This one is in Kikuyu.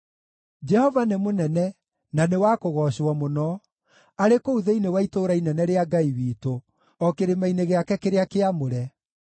Jehova nĩ mũnene, na nĩ wa kũgoocwo mũno, arĩ kũu thĩinĩ wa itũũra inene rĩa Ngai witũ, o kĩrĩma-inĩ gĩake kĩrĩa kĩamũre.